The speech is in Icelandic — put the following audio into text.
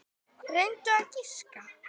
Reyndu að giska.